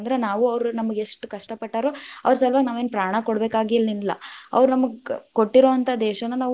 ನಾವು ಅವ್ರು ನಮಗ್‌ ಎಷ್ಟ ಕಷ್ಟ ಪಟ್ಟಾರೊ, ಅವ್ರ ಸಲುವಾಗಿ ನಾವೇನ್ ಪ್ರಾಣಾ ಕೋಡಬೇಕಾಗೆನಿಲ್ಲಾ, ಅವ್ರ ನಮಗ್‌ ಕ~ಕೊಟ್ಟಿರೊವಂತಹ ದೇಶಾನಾ ನಾವು.